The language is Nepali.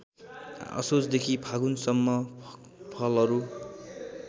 असोजदेखि फागुनसम्म फलहरू